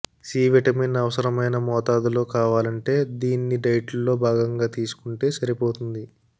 C vitamin అవసరమైన మోతాదులో కావాలంటే దీన్ని డైట్లో భాగంగా తీసుకుంటే సరిపోతుంది